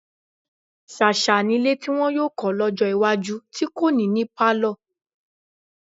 Ṣàṣà nílé tí wọn yóò kọ́ lọ́jọ́ iwájú tí kò ní ní pálọ̀.